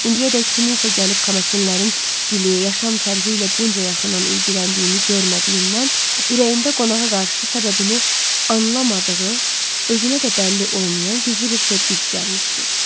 İndiyədək kimsə gəlib Kamasinlərin dili, yaşam tərzi ilə bunca yaxından ilgiləndiyini görmədiyindən ürəyində qonağa qarşı səbəbini anlamadığı, özünə də bəlli olmayan gizli bir sevgi cücərmişdi.